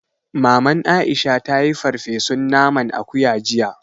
Maman Aisha ta yi farfesun naman akuya jiya